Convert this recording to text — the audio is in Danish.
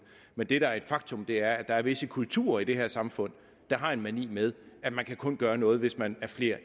men det der er et faktum er at der er visse kulturer i det her samfund der har en mani med at man kun kan gøre noget hvis man er flere